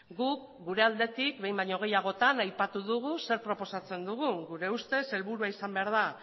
guk gure aldetik behin baino gehiagotan aipatu dugu zer proposatzen dugun gure ustez helburua izan behar da